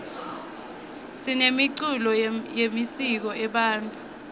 sinemiculo yemisiko ebantfu